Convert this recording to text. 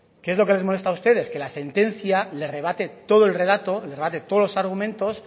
qué es lo que les molesta a ustedes que la sentencia le rebate todo el relato les rebate todos los argumentos